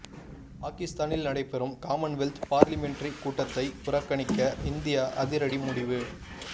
பாகிஸ்தானில் நடைபெறும் Commonwealth parliamentary கூட்டத்தை புறக்கணிக்க இந்தியா அதிரடி முடிவு